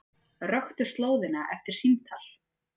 Röktu slóðina eftir símtal